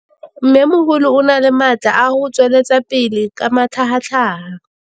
Mmêmogolo o na le matla a go tswelela pele ka matlhagatlhaga.